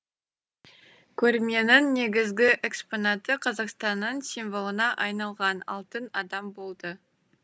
көрменің негізгі экспонаты қазақстанның символына айналған алтын адам болды